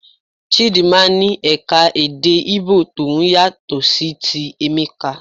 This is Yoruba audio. Chidinma ní eka-èdè Igbo tòun yàtọ̀ sí ti Emeka.